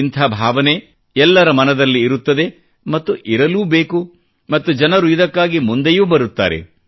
ಇಂಥ ಭಾವನೆ ಎಲ್ಲರ ಮನದಲ್ಲಿ ಇರುತ್ತದೆ ಮತ್ತು ಇರಲೂ ಬೇಕು ಮತ್ತು ಜನರು ಇದಕ್ಕಾಗಿ ಮುಂದೆಯೂ ಬರುತ್ತಾರೆ